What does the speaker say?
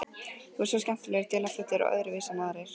Þú ert svo skemmtilega dularfull og öðruvísi en aðrir.